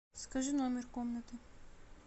скажи номер комнаты